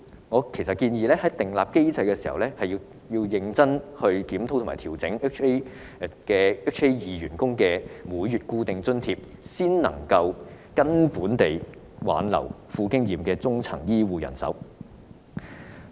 我建議訂立機制，調整1998年4月或以後入職的醫管局員工的每月固定津貼，才能挽留富經驗的中層醫護人手。